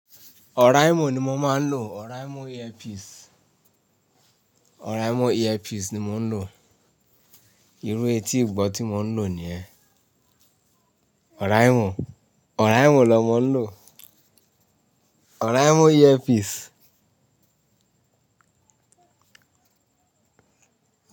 Oraimo ni mo máa ń lò, Oraimo earpiece, Oraimo earpiece ni mo ń lò. Irú etí ìgbọ́ tí mo ń lò ni yẹ́n. Oraimo, Oraimo l'ọmọ ń lò. Oraimo earpiece.